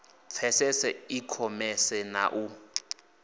pfesese i khomese na u